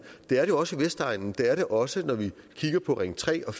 det er det også på vestegnen det er det også når vi kigger på ring tre og